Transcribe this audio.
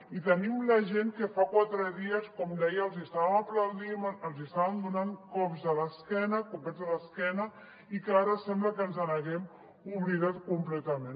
i tenim la gent a qui fa quatre dies com deia estàvem aplaudint estàvem donant cops a l’esquena copets a l’esquena i que ara sembla que ens n’haguem oblidat completament